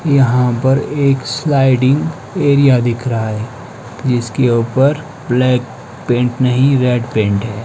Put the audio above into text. यहां पर एक स्लाइडिंग एरिया दिख रहा है जिसके ऊपर ब्लैक पेंट नहीं रेड पेंट है।